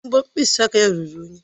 Mbọ mkpịsị aka ya ruru unyi?